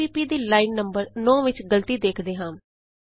CPP ਦੀ line number 9 ਵਿਚ ਗਲਤੀ ਵੇਖਦੇ ਹਾਂ